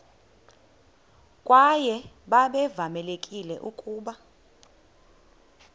kwaye babevamelekile ukuba